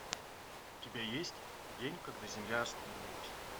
у тебя есть день когда земля остановилась